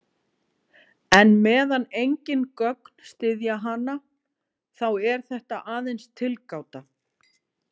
En meðan engin gögn styðja hana, þá er þetta aðeins tilgáta.